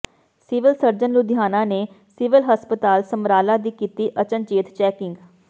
civil surgeon Ludhiana ਨੇ civil ਹਸਪਤਾਲ ਸਮਰਾਲਾ ਦੀ ਕੀਤੀ ਅਚਨਚੇਤ ਚੈਕਿੰਗ